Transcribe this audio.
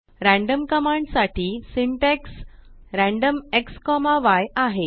random command साठी syntax random xय आहे